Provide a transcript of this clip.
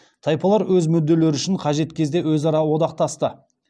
тайпалар өз мүдделері үшін қажет кезде өзара одақтасты